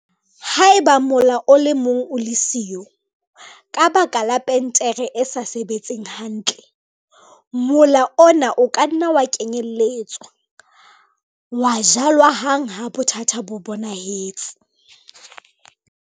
Haeba mola o le mong o le siyo, ka baka la planetere e sa sebetseng hantle, mola ona o ka nna ya kenyelletswa, wa jalwa hang ha bothata bo bonahetse.